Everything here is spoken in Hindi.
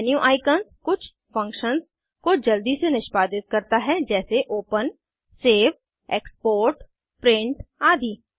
मेन्यू आइकन्स कुछ फंक्शन्स को जल्दी से निष्पादित करता है जैसे ओपन सेव एक्सपोर्ट प्रिंट आदि